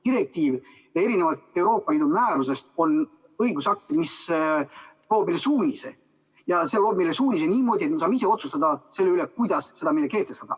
Direktiiv, erinevalt Euroopa Liidu määrusest, on õigusakt, mis annab meile suunise, mille järgi me saame ise otsustada, kuidas me selle kehtestame.